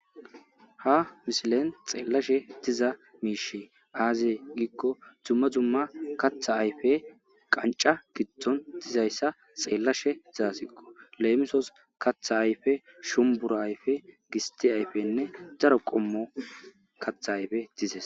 Ha misilen xeellashe tiza miishe aazeye giikko dzumma dzumma katha ayfe qanca kitton dizayssa xeellashe dzaasiqqo leemisos katha ayfe shumbura ayfe gisti ayfenne daro qommo katha ayfe dizes.